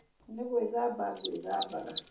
Nĩgwĩthamba ngwĩthambaga